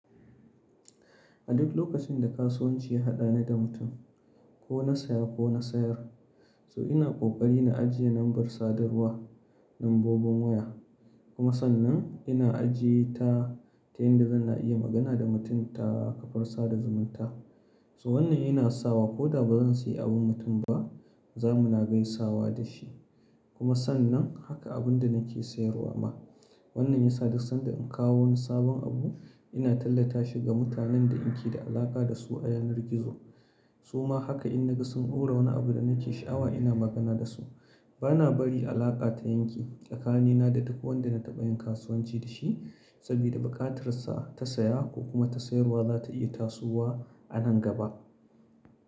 A duk lokacin da kasuwanci ya haɗani da mutum, ko na saya ko na sayar, so ina ƙoƙari na ajiye lambar sadarwa, lambobin waya kuma sannan ina ajiyeta ta yanda zan iya magana da mutum ta kafar sada zumunta. So wannan yana sawa ko da ba zan sayi abin mutum ba, za mu na gaisawa da shi kuma sannan haka abun da nake sayarwa ma. Wannan ya sa duk sanda in kawo wani sabon abu, ina tallata shi ga mutanen da in ke da alaƙa da su a yanar gizo. So ma haka in na ga sun tura wani abu da nake sha'awa ina magana da su. Ba na bari alaƙa ta yanke, tsakanina da duk wanda na taɓa yin kasuwanci da shi sabida buƙatar sa ta saya ko kuma ta sayarwa za ta iya tasowa a nan gaba.